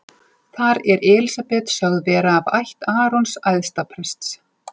Þar er Elísabet sögð vera af ætt Arons æðsta prests.